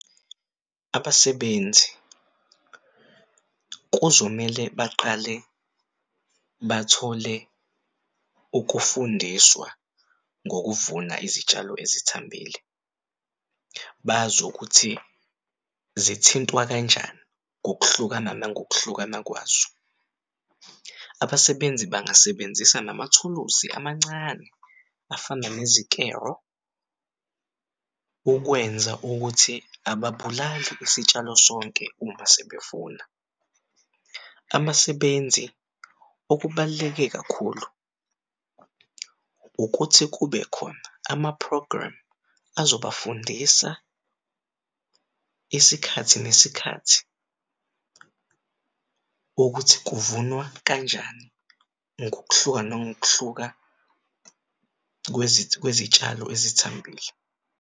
Abasebenzi kuzomele baqale bathole ukufundiswa ngokuvuna izitshalo ezithambile bazi ukuthi zithintwa kanjani ngokuhlukana nangokuhlukana kwazo. Abasebenzi bangasebenzisa namathuluzi amancane afana nezikero ukwenza ukuthi ababulali isitshalo sonke uma sebevuna. Abasebenzi okubaluleke kakhulu ukuthi kubekhona ama-program azobafundisa isikhathi nesikhathi ukuthi kuvunwa kanjani ngokuhluka nangokuhluka kwezitshalo ezithambile.